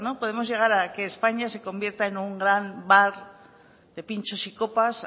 a que españa se convierta en un gran bar de pinchos y copas